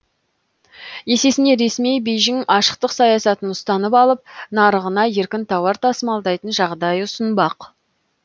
есесіне ресми бейжің ашықтық саясатын ұстанып алып нарығына еркін тауар тасымалдайтын жағдай ұсынбақ